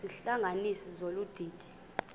izihlanganisi zolu didi